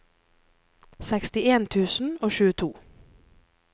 sekstien tusen og tjueto